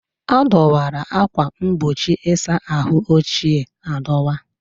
A dọwara akwa mgbochi ịsa ahụ ochie adọwa.